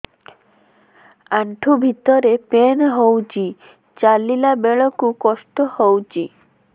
ଆଣ୍ଠୁ ଭିତରେ ପେନ୍ ହଉଚି ଚାଲିଲା ବେଳକୁ କଷ୍ଟ ହଉଚି